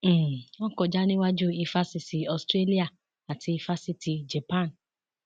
um wọn kọjá níwájú éfásisì australia àti éfásitì japan